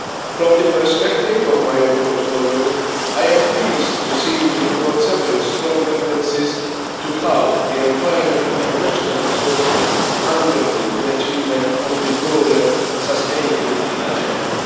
From the perspective of my own portfolio, I am pleased to see in the report several strong references to how the environment and natural resources underpin the achievement of the broader sustainability agenda.